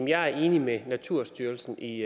jeg er enig med naturstyrelsen i